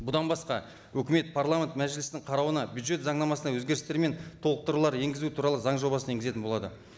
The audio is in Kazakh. бұдан басқа өкімет парламент мәжілісінің қарауына бюджет заңнамасына өзгерістер мен толықтырулар енгізу туралы заң жобасын енгізетін болады